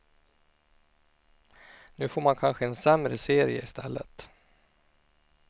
Nu får man kanske en sämre serie istället.